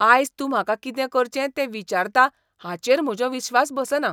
आयज तूं म्हाका कितें करचें तें विचारता हाचेर म्हजो विश्वास बसना.